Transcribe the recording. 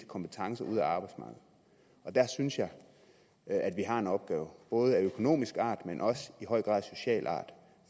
kompetencer ud af arbejdsmarkedet der synes jeg at vi har en opgave både af økonomisk art og i høj grad af social art